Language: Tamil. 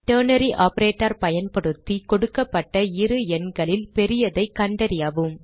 டெர்னரி ஆப்பரேட்டர் பயன்படுத்தி கொடுக்கப்பட்ட இரு எண்களில் பெரியதைக் கண்டறியவும்